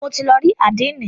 Mo ti lọ rí àdénì.